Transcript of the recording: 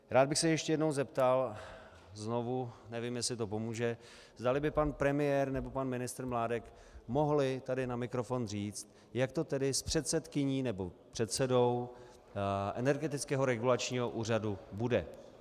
Rád bych se ještě jednou zeptal, znovu, nevím, jestli to pomůže, zdali by pan premiér nebo pan ministr Mládek mohli tady na mikrofon říct, jak to tedy s předsedkyní nebo předsedou Energetického regulačního úřadu bude.